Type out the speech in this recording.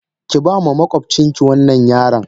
Ki bama makwabcin ki wannan yaron.